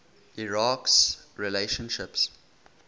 iraq s relationships